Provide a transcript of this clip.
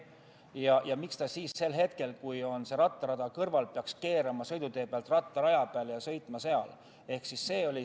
Miks peaks siis mopeedijuht sel hetkel, kui rattarada on kõrval, keerama sõidutee pealt rattaraja peale ja sõitma seal?